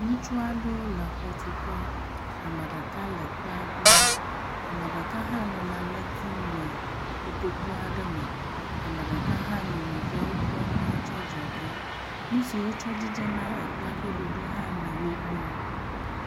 Ŋutsu aɖewo le xɔtuƒe, ame ɖeka le ekpea ɖom. Ame ɖeka hã nɔ nane dim le kotoku aɖe me. Ame ɖeka hã nɔ nɔviawo kpɔm ɖa tso adzɔge. Nu si wotsɔ dzidzina ekpea ƒe ɖoɖo ha le wogbɔ.